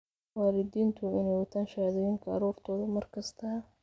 Waalidiintu waa inay wataan shahaadooyinka carruurtooda mar kasta.